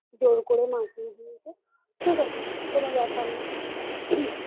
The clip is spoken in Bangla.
জোর করে মাখিয়ে দিয়েছে ঠিক আছে, কোন ব্যাপার না